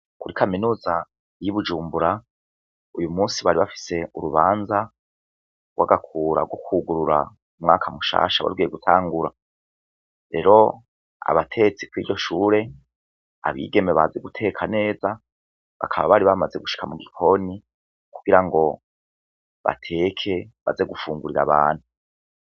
Muri kaminuza y'i Bujumbura, uyu munsi bari bafise urubanza rw'agakura mukwugirura umwaka mushasha wari ugiye gutangura. Rero, abatetsi kw'iryo shure, abigeme bazi guteka neza, bakaba bari bamaze gushika mu gikoni kugira ngo bateke, baze gufungurira abantu.